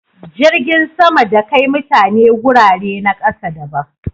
Jirgin sama da Kai mutane gurare na ƙasa daban